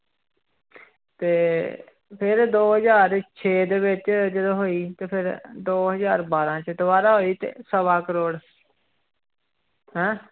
ਤੇ ਫਿਰ ਦੋ ਹਜ਼ਾਰ ਛੇ ਦੇ ਵਿੱਚ ਜਦੋਂ ਹੋਈ ਤੇ ਫਿਰ ਦੋ ਹਜ਼ਾਰ ਬਾਰਾਂ ਚ ਦੁਬਾਰਾ ਹੋਈ ਤੇ ਸਵਾ ਕਰੌੜ ਹੈਂ